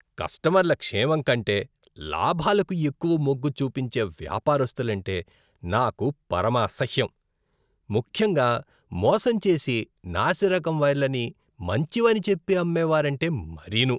కస్టమర్ల క్షేమంకంటే లాభాలకు ఎక్కువ మొగ్గు చూపించే వ్యాపారస్తులంటే నాకు పరమ అసహ్యం. ముఖ్యంగా మోసంచేసి నాసిరకం వైర్లని మాంచివని చెప్పి అమ్మేవారంటే మరీనూ.